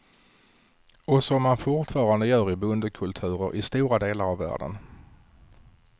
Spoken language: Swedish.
Och som man fortfarande gör i bondekulturer i stora delar av världen.